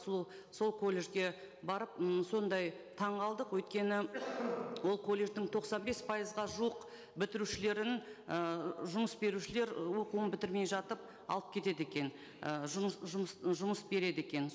сол колледжге барып м сондай таңғалдық өйткені ол колледждің тоқсан бес пайызға жуық бітірушілерін ыыы жұмыс берушілер оқуын бітірмей жатып алып кетеді екен жұмыс береді екен